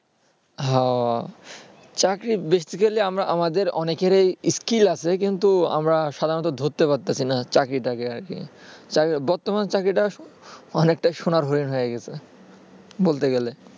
হ্যাঁ চাকরি basically আমাদের অনেকেরই skill আছে কিন্তু আমরা সাধারানত ধরতে পারতাসিনা চাকরিটাকে আরকি তাই বর্তমানে চাকরিটা অনেকটাই সোনার হরিন হয়ে গেছে বলতে গেলে